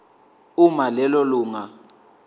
uma lelo lunga